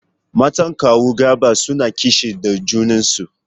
Matan kawu Garba suna kishi da junan su.